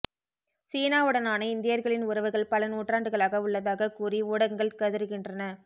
சீனாவுடனான இந்தியர்களின் உறவுகள் பல நூற்றாண்டுகளாக உள்ளதாக கூறி ஊடங்கள் கதறுகின்றன